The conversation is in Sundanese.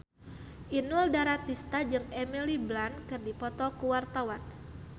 Inul Daratista jeung Emily Blunt keur dipoto ku wartawan